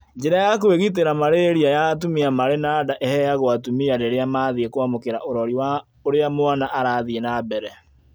Njĩra ya kũĩgitĩra malaria ya atumia marĩ na nda ĩrĩa ĩheagwo atumia rĩrĩa mathiĩ kwamũkĩra ũrori wa ũrĩa mwana arathiĩ na mbele